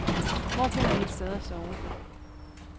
Hvor finder vi et sted at sove?